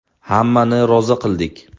Hammani rozi qildik.